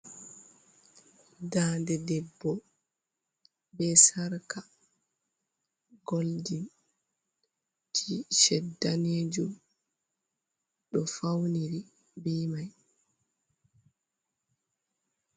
Dande debbo be sarka goldin ji shed danejum ɗo fauniri be mai.